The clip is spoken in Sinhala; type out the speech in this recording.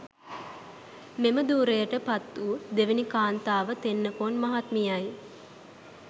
මෙම ධුරයට පත් වු දෙවැනි කාන්තාව තෙන්නකෝන් මහත්මියයි.